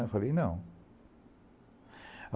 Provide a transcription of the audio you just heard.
Eu falei, não.